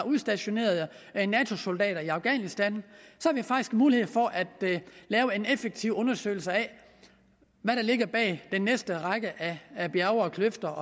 udstationerede nato soldater i afghanistan faktisk mulighed for at lave en effektiv undersøgelse af hvad der ligger bag den næste række bjerge og kløfter